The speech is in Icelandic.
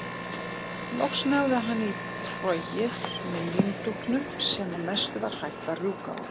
Loks náði hann í trogið með líndúkunum sem að mestu var hætt að rjúka úr.